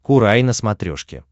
курай на смотрешке